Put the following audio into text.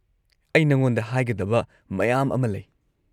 ꯑꯩ ꯅꯉꯣꯟꯗ ꯍꯥꯏꯒꯗꯕ ꯃꯌꯥꯝ ꯑꯃ ꯂꯩ꯫